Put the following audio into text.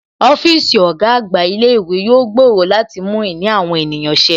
Ọ́fíìsì ọ̀gá àgbà ilé ìwé yóò gbòòrò láti mú ìní àwọn ènìyàn ṣe